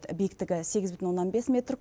биіктігі сегіз бүтін оннан бес метр